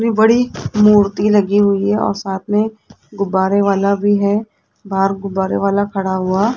बड़ी मूर्ति लगी हुई है और साथ में गुब्बारे वाला भी है बाहर गुब्बारे वाला खड़ा हुआ --